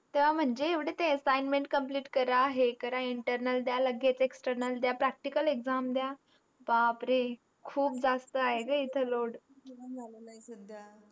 तेवा मंझे एवडे ते assessment complete करा हे करा internal द्या लगे external द्या practical exam द्या बापरे खूप जास्त आहे ग लोड.